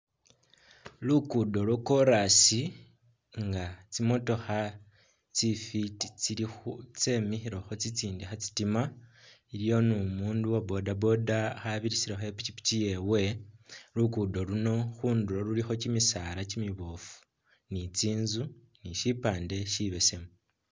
Luguddo lwa chorus nga tsi'motokha tsifiti tsilikho tsemikhilekho tsitsindi khatsitima, waliyo numundu uwa bodaboda khabirisirakho ipikipiki yewe, lugudo luno khundulo khulikho kimisaala kimibofu ni tsinzu ni sipande sibesemu